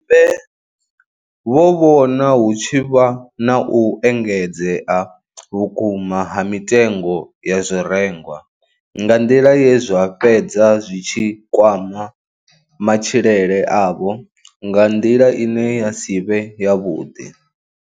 Mbe vho vhona hu tshi vha na u engedzea vhukuma ha mitengo ya zwirengwa nga nḓila ye zwa fhedza zwi tshi kwama matshilele avho nga nḓila ine ya si vhe yavhuḓi.